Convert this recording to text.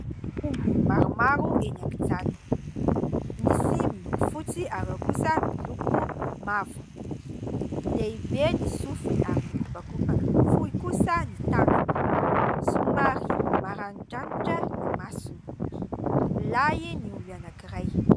Omby maromaro eny an-kijana. Misy miloko fotsy ary ao kosa miloko mavo. Lehibe ny sofiny ary mikopakopaka. Fohy kosa ny tandrony. Somary maranidranitra ny masony. Lahy ny omby anankiray.